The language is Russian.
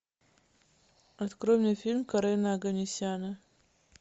открой мне фильм карена оганесяна